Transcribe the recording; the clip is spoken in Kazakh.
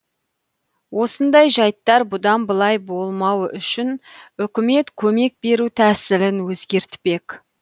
осындай жайттар бұдан былай болмауы үшін үкімет көмек беру тәсілін өзгертпек